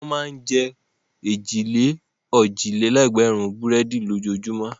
Wọ́n máa ń jẹ èjì-lé-òjì-lé-ẹgbẹ̀rún búrẹ́dì lójoojúmọ́.